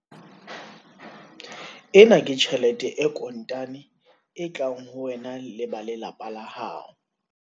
Ena ke tjhelete e kontane e tlang ho wena le ba lelapa la hao.